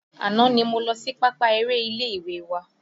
Àná ni mo lọ sí pápá eré ilé ìwé wa